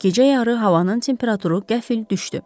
Gecə yarı havanın temperaturu qəfil düşdü.